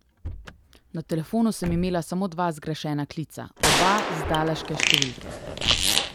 Na telefonu sem imela samo dva zgrešena klica, oba z dallaške številke.